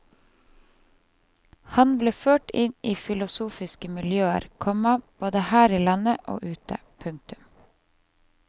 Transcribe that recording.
Han ble ført inn i filosofiske miljøer, komma både her i landet og ute. punktum